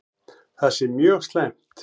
Það sé mjög slæmt.